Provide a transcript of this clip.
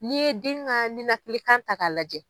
N'i ye den ka nilakili kan ta k'a lajɛ,